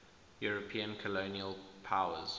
european colonial powers